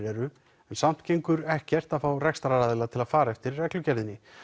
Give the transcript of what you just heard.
eru en samt gengur ekkert að fá rekstraraðila til að fara eftir reglugerðinni